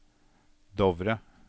Dovre